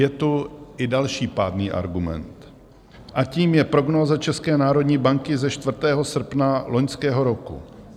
Je tu i další pádný argument a tím je prognóza České národní banky ze 4. srpna loňského roku.